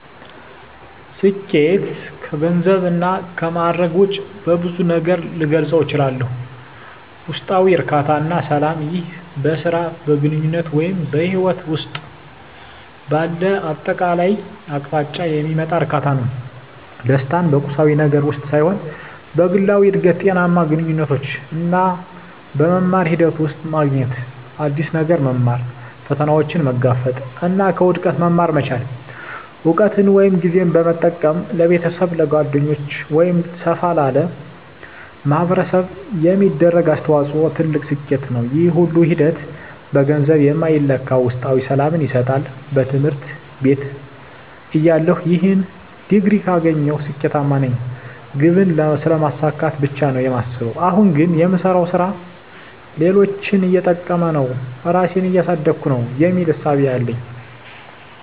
ስኬት ከገንዘብ እና ከማእረግ ውጭ በብዙ ነገር ልገልፀው እችላልሁ። ውስጣዊ እርካታ እና ሰላም ይህ በሥራ፣ በግንኙነት ወይም በሕይወት ውስጥ ባለው አጠቃላይ አቅጣጫ የሚመጣ እርካታ ነው። ደስታን በቁሳዊ ነገር ውስጥ ሳይሆን በግላዊ እድገት፣ ጤናማ ግንኙነቶች እና በመማር ሂደት ውስጥ ማግኘት። አዲስ ነገር መማር፣ ፈተናዎችን መጋፈጥ እና ከውድቀት መማር መቻል። እውቀትን ወይም ጊዜን በመጠቀም ለቤተሰብ፣ ለጓደኞች ወይም ሰፋ ላለ ማኅበረሰብ የሚደረግ አስተዋጽኦ ትልቅ ስኬት ነው። ይህ ሁሉ ሂደት በገንዘብ የማይለካ ውስጣዊ ሰላምን ይሰጣል። በትምህርት ቤትተያለሁ "ይህን ዲግሪ ካገኘሁ ስኬታማ ነኝ" ግብን ስለማሳካት ብቻ ነው የማስበው። አሁን ግን "የምሰራው ሥራ ሌሎችን እየጠቀመ ነው? ራሴን እያሳደግኩ ነው?" የሚል እሳቤ ነው ያለኝ።